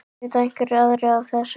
Vita einhverjir aðrir af þessu?